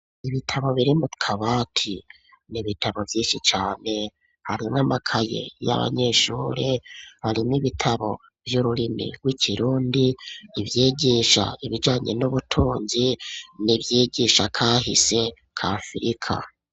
Ibitabo biri mu kabati nibitabo vyinshi cane hari n amakaye y'abanyeshuri harimo ibitabo vy'ururimi w'ikirundi ivyigisha ibijanye n'ubutunzi n'ivyigisha kahise kafirika.